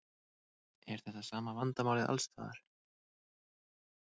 Er þetta sama vandamálið alls staðar?